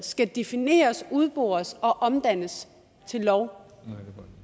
skal defineres udbores og omdannes til en lov